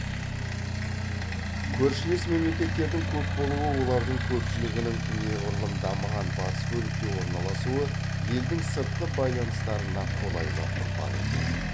көршілес мемлекеттердің көп болуы олардың көпшілігінің неғұрлым дамыған батыс бөлікте орналасуы елдің сыртқы байланыстарына қолайлы ықпал етеді